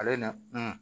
Ale na